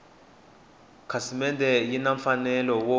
khasimende yi na mfanelo wo